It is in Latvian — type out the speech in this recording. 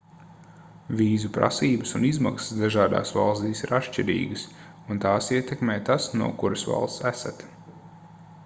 vīzu prasības un izmaksas dažādās valstīs ir atšķirīgas un tās ietekmē tas no kuras valsts esat